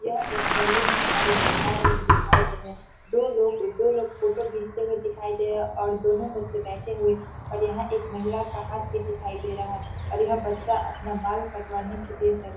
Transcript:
यह एक सैलून है और यहाँ चार लोग दिखाई दे रहे हैं दो लोग दो लोग फोटो खींचते हुए दिखाई दे रहे हैं और दोनों बच्चे बैठे हुए और यहाँ एक महिला का हाथ भी दिखाई दे रहा है और यह बच्चा अपना बाल कटवाने के लिए सैलून --